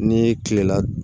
Ni kilela